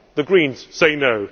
the Greens say no.